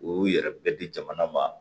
U y'u yɛrɛ bɛɛ di jamana ma